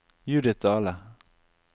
Judith Dahle